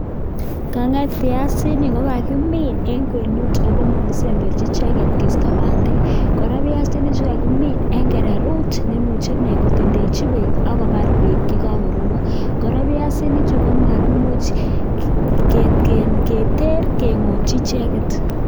Kanget piasinik ko kakimin eng kwenut akoma kisemberchi icheket keisto bandek, kora, piasinichu kokamin eng kererut neimuche ee kotendenchi beek ako baar beek ye kakoropon. Kora, piasinichu komakimuch keteer kengotyi icheket.